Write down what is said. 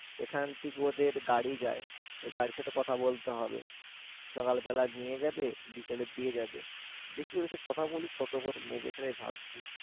এখান থেকে ওদের গাড়ি যায় ওই গাড়ির সাথে কথা বলতে হবে সকালবেলা নিয়ে যাবে বিকেলে দিয়ে যাবে দেখি ওদের সাথে কথা বলে কত করে নেবে সেটাই ভাবছি